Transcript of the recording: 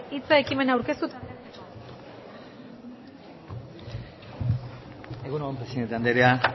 hitza ekimena aurkezteko egun on presidente andrea